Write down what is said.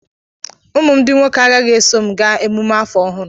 Ụmụ m ndị nwoke agaghị eso m gaa emume afọ ọhụrụ.